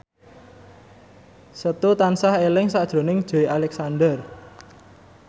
Setu tansah eling sakjroning Joey Alexander